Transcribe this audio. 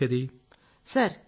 ప్రయాణించాల్సొచ్చేది